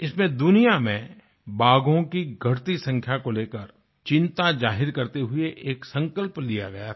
इसमें दुनिया में बाघों की घटती संख्या को लेकर चिंता जाहिर करते हुए एक संकल्प लिया गया था